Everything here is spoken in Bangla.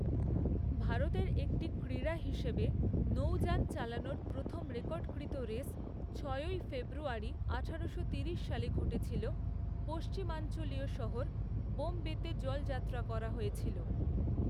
ভারতের একটি ক্রীড়া হিসেবে, নৌযান চালানোর প্রথম রেকর্ডকৃত রেস, ছয়ই ফেব্রুয়ারি আঠারোশো তিরিশ সালে ঘটেছিল, পশ্চিমাঞ্চলীয় শহর বোম্বেতে জলযাত্রা করা হয়েছিল।